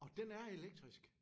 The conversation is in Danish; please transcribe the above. Og den er elektrisk?